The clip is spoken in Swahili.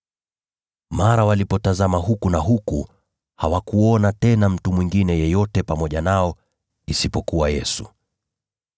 Mara walipotazama huku na huku, hawakuona tena mtu mwingine yeyote pamoja nao isipokuwa Yesu.